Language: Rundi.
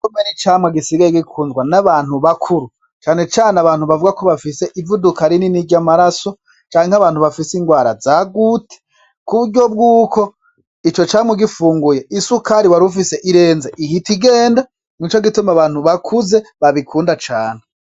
Pome nicamwa gisigaye gikundwa n'abantu bakuru cane cane abantu bavugako bafise ivuduka rinini ryamaraso canke abantu bafise ingwara zagute kuburyo bwuko ico camwa ugifunguye isukari warufise irenze ihita igenda nico gituma abantu bakuze babikunda cane.